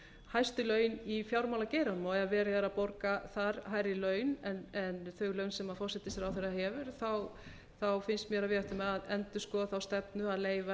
hæstu laun í fjármálageiranum og ef verið er að borga þar hærri laun en þau laun sem forsætisráðherra hefur þá finnst mér að við ættum að endurskoða þá stefnu að leyfa